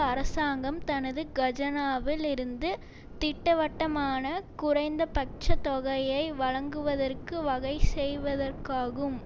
அரசாங்கம் தனது கஜனாவில் இருந்து திட்டவட்டமான குறைந்தபட்ச தொகையை வழங்குவதற்கு வகை செய்வதற்காகும்